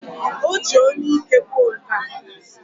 O ji onu ike kwuo nkea.